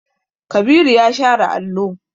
Kabiru ya share allo.